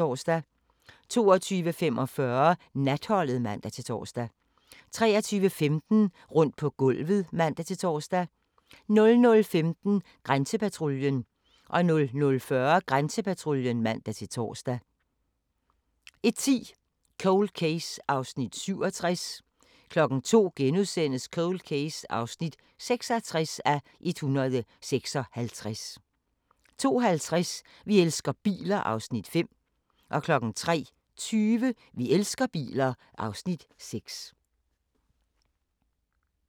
22:45: Natholdet (man-tor) 23:15: Rundt på gulvet (man-tor) 00:15: Grænsepatruljen 00:40: Grænsepatruljen (man-tor) 01:10: Cold Case (67:156) 02:00: Cold Case (66:156)* 02:50: Vi elsker biler (Afs. 5) 03:20: Vi elsker biler (Afs. 6)